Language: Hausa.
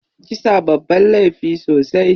Kisa babban laifi sosai.